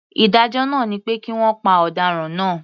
Ìdájọ́ náà ni pé kí wọ́n pa ọ̀daràn náà.